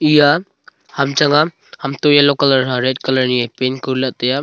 eya ham chang a ham toh yellow colour i a red colour ni a paint kori lah ley tai a.